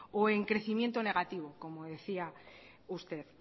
o en crecimiento negativo como decía usted